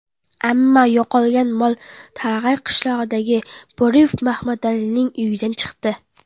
Ammo yo‘qolgan mol Tarag‘ay qishlog‘idagi Bo‘riyev Mahmadalining uyidan chiqdi.